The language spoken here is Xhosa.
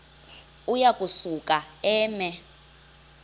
uya kusuka eme